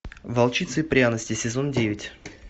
волчица и пряности сезон девять